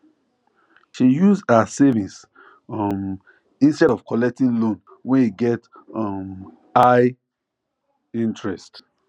she use her savings um instead of collecting loan wey get um high interest